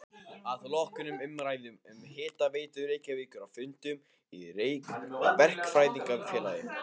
Að loknum umræðum um Hitaveitu Reykjavíkur á fundum í Verkfræðingafélagi